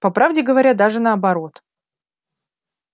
по правде говоря даже наоборот